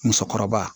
Musokɔrɔba